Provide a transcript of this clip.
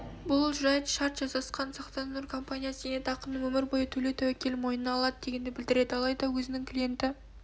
бұл жайт шарт жасасқан сақтандыру компаниясы зейнетақыны өмір бойы төлеу тәуекелін мойнына алады дегенді білдіреді алайда өзінің клиенті